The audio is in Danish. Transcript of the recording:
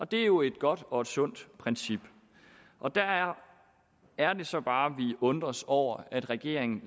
det er jo et godt og sundt princip og der er er det så bare vi undrer os over at regeringen